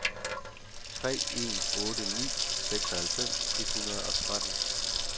tre en otte ni seksoghalvfems et hundrede og tretten